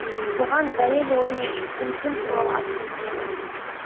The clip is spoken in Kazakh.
бұған дәлел оның өзім туралы атты өлеңі